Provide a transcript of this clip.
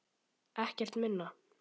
Ekkert minna.